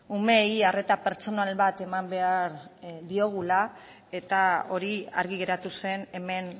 umeei arreta pertsonal bat eman behar diogula eta hori argi geratu zen hemen